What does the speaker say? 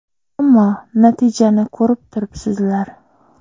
Ammo natijani ko‘rib turibsizlar.